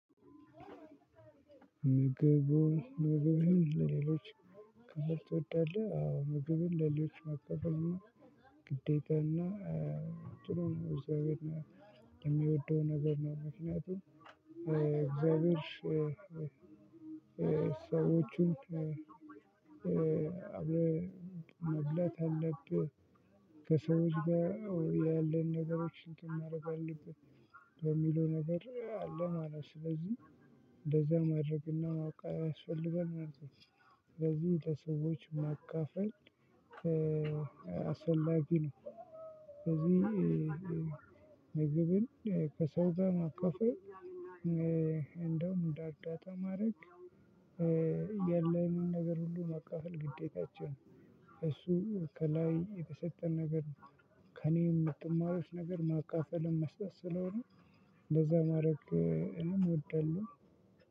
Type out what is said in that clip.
ምግቡን ምግቡን ሌሎች መከፈል ትወድዳለህ አዎ ምግብን ለሌሎች መከፈል። ግዴታና ጥሩ ነው እግዚአብሔር የሚወደው ነገር ነው። ምክንያቱም እግዚአብሔር ሰዎቹን መብላት ያለብህን። ከሰዎች ጋር ያለን ነገሮችን እንትን ማድረግ አለብን በሚለው ነገር አለ ማለት ነው። ስለዚህ እንደዛ ማድረግና ማወቅ ያስፈልገ ማለት ነው። ስለዚህ ለሰዎች ማካፈል አስፈላጊ ነው። ስለዚህ ምግብን ከሰው ማካፈል። እንደውም እንርዳታ ማድረግ የለውን ነገር ሁሉ መካፈል ግዴታችን። እሱ ከላይ የተሰጠ ነገር። ከእኔም የምትማሩት ነገር ማካፈልና መስጠት ስለሆነ እንደዛ ማድረግ እኔም ወደለው